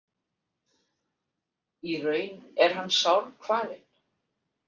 Í raun er hann sárkvalinn.